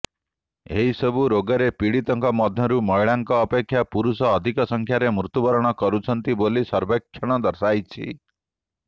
ଏସବୁ ରୋଗରେ ପୀଡ଼ିତଙ୍କ ମଧ୍ୟରୁ ମହିଳାଙ୍କ ଅପେକ୍ଷା ପୁରୁଷ ଅଧିକ ସଂଖ୍ୟାରେ ମୃତ୍ୟୁବରଣ କରୁଛନ୍ତି ବୋଲି ସର୍ବେକ୍ଷଣରେ ଦର୍ଶାଯାଇଛି